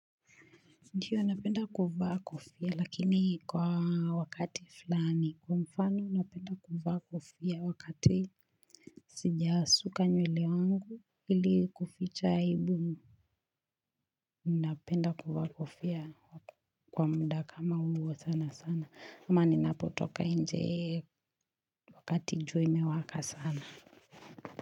Ndiyo napenda kuvaa kofia lakini kwa wakati fulani kwa mfano napenda kuvaa kofia wakati sijasuka nywele wangu ili kuficha aibu napenda kuvaa kofia. Kwa muda kama huo sana sana ama ninapotoka nje ee. Wakati jua imewaka sana.